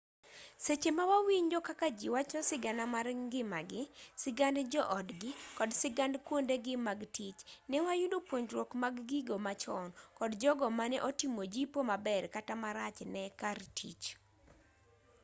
seche ma wawinjo kaka ji wacho sigana mar ngimagi sigand jo-odgi kod sigand kuondegi mag tich ne wayudo puonjruok mag gigo machon kod jogo mane otimo jipo maber kata marach ne kar tich